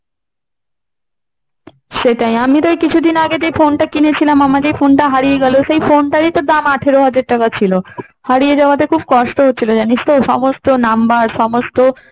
সেটাই আমি তো কিছুদিন আগে যে phone টা কিনেছিলাম আমার যে phone টা হারিয়ে গেল তো phone টার ই তো দাম আঠেরো হাজার টাকা ছিল। হারিয়ে যাওয়াতে খুব কষ্ট হচ্ছিল জানিস তো? সমস্ত number সমস্ত